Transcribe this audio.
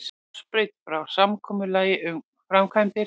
Hársbreidd frá samkomulagi um framkvæmdir